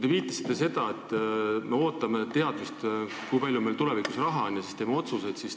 Te viitasite sellele, et me ootame teadmist, kui palju meil tulevikus raha on, ja siis teeme otsused.